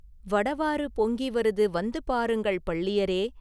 வடவாறு பொங்கி வருது, வந்து பாருங்கள், பள்ளியரே!